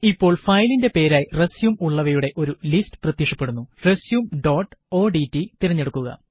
ഇപ്പോള് ഫയലിന്റെ പേരായി റസ്യും ഉള്ളവയുടെ ഒരു ലിസ്റ്റ് പ്രത്യക്ഷപ്പെടുന്നു റസ്യും ഡോട്ട് ഓഡ്റ്റ് തിരഞ്ഞെടുക്കുക